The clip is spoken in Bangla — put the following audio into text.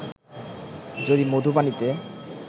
যদি মধু পানিতে